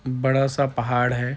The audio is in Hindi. बड़ा सा पहाड़ है।